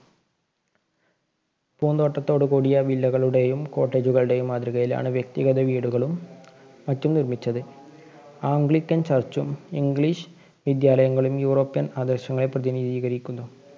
പൂന്തോട്ടത്തോടുകൂടിയ villa കളുടെയും cottage കളുടെയും മാതൃകയിലാണ് വ്യക്തിഗത വീടുകളും മറ്റും നിര്‍മ്മിച്ചത്. anglican church ഉം ഇഗ്ലീഷ് വിദ്യാലയങ്ങളും യൂറോപ്യൻ പ്രതിനിധീകരിക്കുന്നു.